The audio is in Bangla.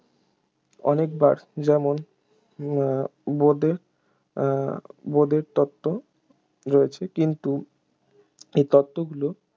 অনেকবার যেমন উহ বোদের উহ বোদের তত্ত্ব রয়েছে কিন্তু এই তত্ত্বগুলো